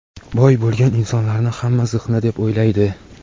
boy bo‘lgan insonlarni hamma ziqna deb o‘ylaydi.